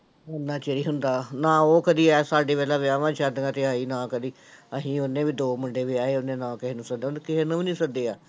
ਓਨਾ ਚਿਰ ਹੀ ਹੁੰਦਾ, ਨਾ ਉਹ ਕਦੇ ਆਏ ਸਾਡੇ ਵੱਲ ਵਿਆਹਵਾਂ ਸ਼ਾਦੀਆਂ ਤੇ ਆਏ ਨਾ ਕਦੇ ਅਸੀਂ, ਉਹਨੇ ਵੀ ਦੋ ਮੁੰਡੇ ਵਿਆਹੇ ਉਹਨੇ ਨਾ ਕਿਸੇ ਨੂੰ ਸੱਦਿਆ, ਉਹਨੇ ਕਿਸੇ ਨੂੰ ਵੀ ਨੀ ਸੱਦਿਆ।